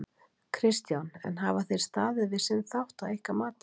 Kristján: En hafa þeir staðið við sinn þátt að ykkar mati?